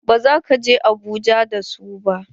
Ba za ka je Abuja da su ba!